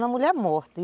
Uma mulher morta.